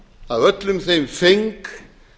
að öllum þeim feng